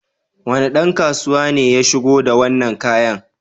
Wane ɗan kasuwa ne ya shigo da wannan kayan?